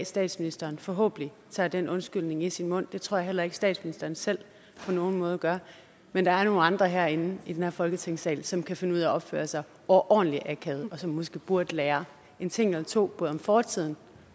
statsministeren forhåbentlig tager den undskyldning i sin mund det tror jeg heller ikke statsministeren selv på nogen måde gør men der er nogle andre herinde i den her folketingssal som kan finde ud af at opføre sig overordentlig akavet og som måske burde lære en ting eller to både om fortiden